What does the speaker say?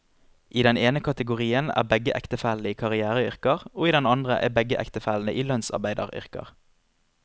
I den ene kategorien er begge ektefellene i karriereyrker, og i den andre er begge ektefellene i lønnsarbeideryrker.